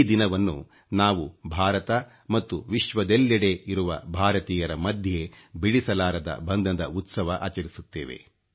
ಈ ದಿನವನ್ನು ನಾವು ಭಾರತ ಮತ್ತು ವಿಶ್ವದೆಲ್ಲೆಡೆ ಇರುವ ಭಾರತೀಯರ ಮಧ್ಯೆ ಬಿಡಿಸಲಾರದ ಬಂಧದ ಉತ್ಸವ ಆಚರಿಸುತ್ತೇವೆ